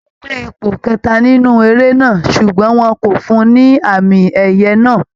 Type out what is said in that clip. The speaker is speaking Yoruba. Ó gbé ipò kẹta nínú eré náà ṣùgbọ́n wọn kò fún un ní àmì ẹ̀yẹ náà